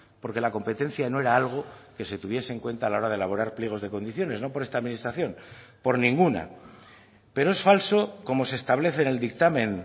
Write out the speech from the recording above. porque la competencia no era algo que se tuviese en cuenta a la hora de elaborar pliegos de condiciones no por esta administración por ninguna pero es falso como se establece en el dictamen